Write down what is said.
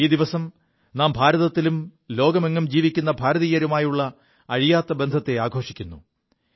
ഈ ദിവസം നാം ഭാരതത്തിലും ലോകത്തെങ്ങും ജീവിക്കു ഭാരതീയരുമായുള്ള അഴിയാത്ത ബന്ധത്തെ ആഘോഷിക്കുു